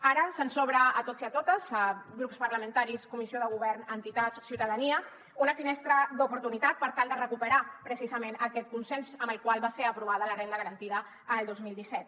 ara se’ns obre a tots i a totes grups parlamentaris comissió de govern entitats ciutadania una finestra d’oportunitat per tal de recuperar precisament aquest consens amb el qual va ser aprovada la renda garantida el dos mil disset